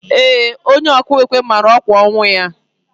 Ee, onye ọkụ ekwe mara ọkwa ọnwụ ya.